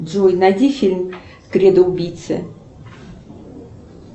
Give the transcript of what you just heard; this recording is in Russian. джой найди фильм кредо убийцы